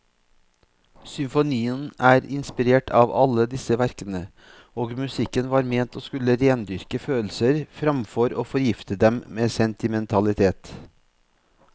Symfonien er inspirert av alle disse verkene, og musikken var ment å skulle rendyrke følelser framfor å forgifte dem med sentimentalitet.